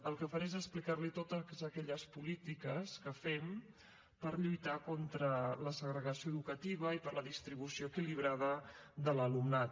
el que faré és explicar li totes aquelles polítiques que fem per lluitar contra la segregació educativa i per la distribució equilibrada de l’alumnat